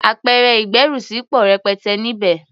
Apẹ̀rẹ̀ ìgbẹ́rùsí pọ̀ rẹpẹtẹ níbẹ̀.